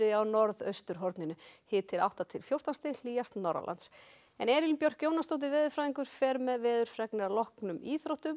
á norðausturhorninu hiti átta til fjórtán stig hlýjast norðanlands Elín Björk Jónasdóttir veðurfræðingur fer með veðurfregnir að loknum íþróttum og